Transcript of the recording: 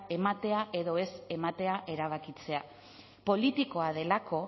ematea edo ez ematea erabakitzea politikoa delako